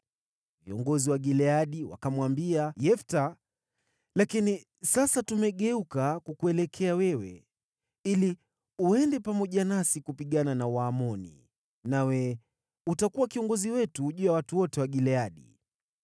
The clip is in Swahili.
Viongozi wa Gileadi wakamwambia Yefta, “Lakini sasa tumegeuka kukuelekea wewe, ili uende pamoja nasi kupigana na Waamoni, nawe utakuwa kiongozi wetu juu ya watu wote wa Gileadi.”